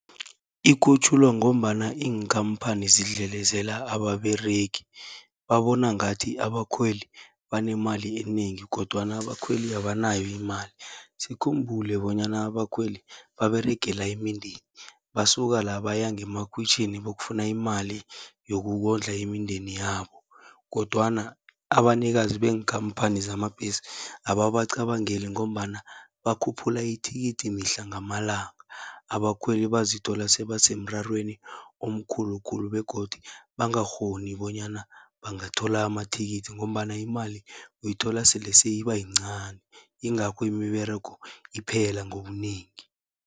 Ikhutjhulwa ngombana iinkhamphani zidlelezela ababeregi, babona ngathi abakhweli banemali enengi kodwana abakhweli abanayo imali. Sikhumbule bonyana abakhweli baberegela imindeni, basuka la baya ngemakhwitjhini bayokufuna imali yokukondla imindeni yabo kodwana abanikazi beenkhamphani zamabhesi, ababacabangeli ngombana bakhuphula ithikithi mihla ngamalanga. Abakhweli bazithola sebasemrarweni omkhulukhulu begodu bangakghoni bonyana bangathola amathikithi, ngombana imali uyithola sele seyiba yincani. Ingakho imiberego iphela ngobunengi.